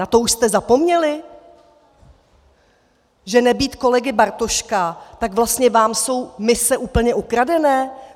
Na to už jste zapomněli, že nebýt kolegy Bartoška, tak vlastně vám jsou mise úplně ukradené?